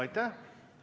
Aitäh!